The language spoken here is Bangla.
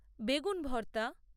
বেগুন ভর্তা